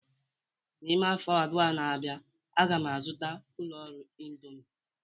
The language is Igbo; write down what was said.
N'ime afọ abụọ na-abịa, a ga m azụta ụlọ ọrụ indomi